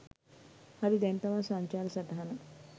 හරි දැන් තමා සංචාර සටහන